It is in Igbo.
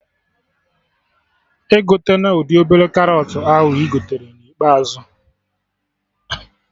Egotena ụdị obere karọt ahụ ị gotere na ikpeazụ